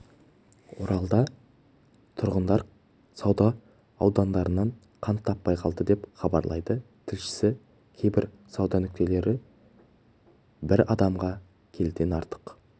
оралда тұрғындар сауда орындарынан қант таппай қалды деп хабарлайды тілшісі кейбір сауда нүктелерібір адамға келіден артық